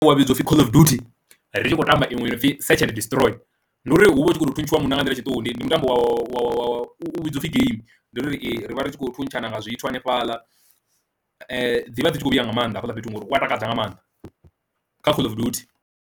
Wa vhidzwa upfhi call of duty ri tshi khou tamba iṅwe i no pfi search and destroy, ndi uri hu vha hu tshi khou thuntshiwa munna nga nḓila ya tshiṱuhu, ndi mutambo wa wa wa u vhidziwa u pfi game, ndi uri rivha ritshi kho thuntshana nga zwithu hanefhaḽa dzivha dzi tshi kho vhuya nga maanḓa hafhaḽa fhethu ngauri wa takadza nga maanḓa kha call of duty.